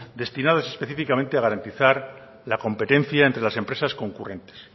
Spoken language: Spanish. destinadas específicamente a garantizar la competencia entre las empresas concurrentes